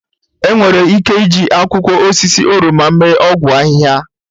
Enwere ike iji akwụkwọ osisi oroma mee ọgwụ ahịhịa.